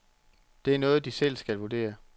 Det er noget, de selv skal vurdere.